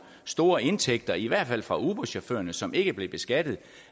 store indtægter i hvert fald for uberchaufførerne som ikke blev beskattet